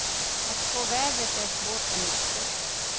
Att spå vädret är svårt och nyckfullt.